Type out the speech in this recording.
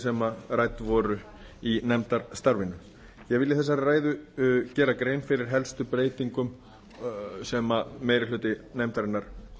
sem rædd voru í nefndarstarfinu ég vil í þessari ræðu gera grein fyrir helstu breytingum sem meiri hluti nefndarinnar